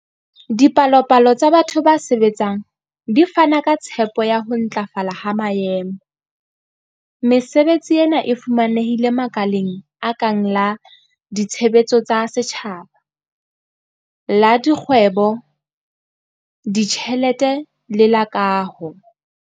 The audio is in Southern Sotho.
Dipalopalo tsa batho ba sebetsang di fana ka tshepo ya ho ntlafala ha maemo. Mesebetsi ena e fumanehile makaleng a kang la ditshebeletso tsa setjhaba, la dikgwebo, ditjhelete le la kaho.